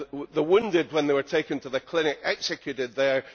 The wounded, when they were taken to the clinic, executed there.